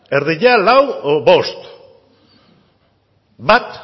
erdia lau edo bost bat